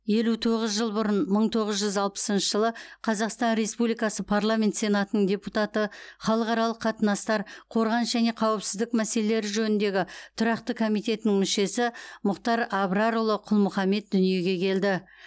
елу тоғыз жыл бұрын мың тоғыз жүз алпысыншы жылы қазақстан республикасы парламент сенатының депутаты халықаралық қатынастар қорғаныс және қауіпсіздік мәселелері жөніндегі тұрақты комитетінің мүшесі мұхтар абрарұлы құл мұхаммед дүниеге келді